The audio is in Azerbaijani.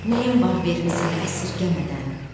Nəyim var vermisən əsirgəmədən.